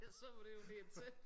Ja så var det jo lige til